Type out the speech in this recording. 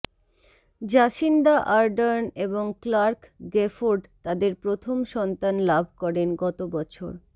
Jacinda Ardern এবং Clarke Gayford তাদের প্রথম সন্তান লাভ করেন গতবছর